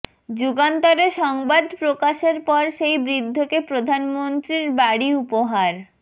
যুগান্তরে সংবাদ প্রকাশের পর সেই বৃদ্ধকে প্রধানমন্ত্রীর বাড়ি উপহার